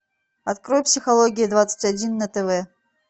открой психология двадцать один на тв